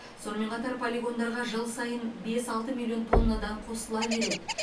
сонымен қатар полигондарға жыл сайын бес алты миллион тоннадан қосыла береді